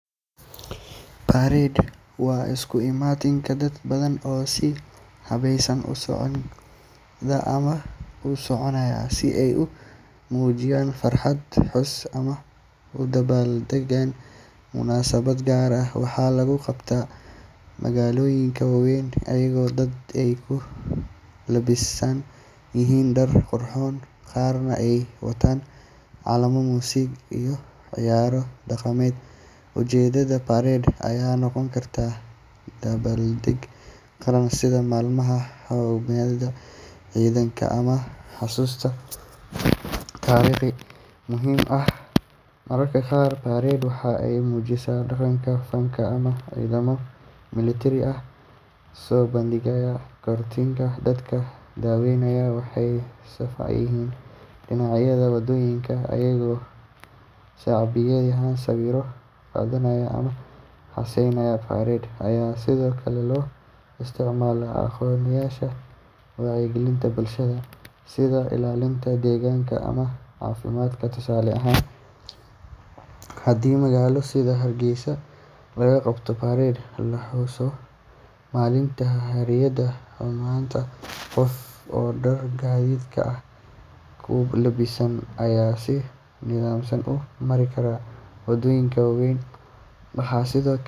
Parade waa isu imaatin dad badan oo si habaysan u socda ama u soconaya si ay u muujiyaan farxad, xus, ama u dabaal degaan munaasabad gaar ah. Waxaa lagu qabtaa magaalooyinka waaweyn iyadoo dadku ay ku labisan yihiin dhar qurxoon, qaarna ay wataan calamo, muusig iyo ciyaaro dhaqameed. Ujeeddada parade ayaa noqon karta dabaaldeg qaran sida maalmaha xornimada, ciidaha ama xuska taariikhaha muhiimka ah. Mararka qaar parade waxa ay muujisaa dhaqanka, fanka ama ciidamo milatari oo soo bandhigaya kartidooda. Dadka daawanaya waxay safan yihiin dhinacyada waddooyinka, iyagoo sacbinaya, sawirro qaadanaya ama heesaya. Parade ayaa sidoo kale loo isticmaalaa ololayaasha wacyigelinta bulshada sida ilaalinta deegaanka ama caafimaadka. Tusaale ahaan, haddii magaalo sida Hargeysa lagu qabto parade lagu xusayo maalinta xorriyadda, kumannaan qof oo dhar hiddaha ah ku lebisan ayaa si nidaamsan u mari kara waddooyinka waaweyn. Waxaa sidoo